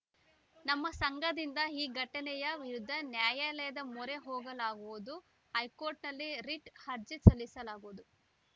ನಮ್ಮ ಸಂಘದಿಂದ ಈ ಘಟನೆಯ ವಿರುದ್ಧ ನ್ಯಾಯಾಲಯದ ಮೊರೆ ಹೋಗಲಾಗುವುದು ಹೈಕೋರ್ಟ್‌ನಲ್ಲಿ ರಿಟ್‌ ಅರ್ಜಿ ಸಲ್ಲಿಸಲಾಗುವುದು